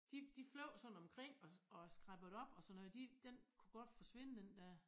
De de fløj sådan omkring os og skræppede op og sådan noget de den kunne godt forsvinde den dér